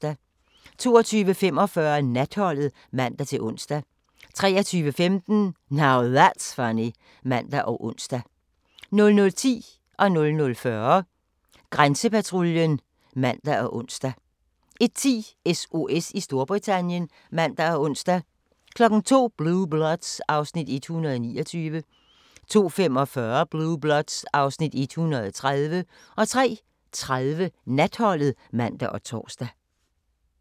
22:45: Natholdet (man-ons) 23:15: Now That's Funny (man og ons) 00:10: Grænsepatruljen (man og ons) 00:40: Grænsepatruljen (man-ons) 01:10: SOS i Storbritannien (man og ons) 02:00: Blue Bloods (Afs. 129) 02:45: Blue Bloods (Afs. 130) 03:30: Natholdet (man og tor)